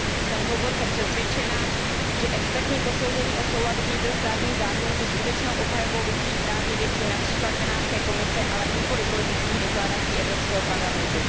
Jsem hluboce přesvědčena, že expertní posouzení o souladu vnitrostátních zákonů se skutečnou obhajobou lidských práv je věcí například Benátské komise, ale nikoliv politických deklarací Evropského parlamentu.